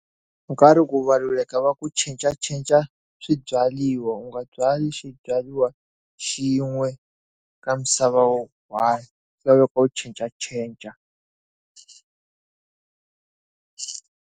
Nkarhi ku valuleka va ku cincacinca swibyariwa u nga byali swibyariwa xin'we ka misava wu one swa laveka u cincacinca.